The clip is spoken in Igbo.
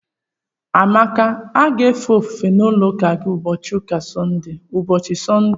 Amaka a ga-efe ofufe n'ụlọụka gị n'ụbochị Sọnde?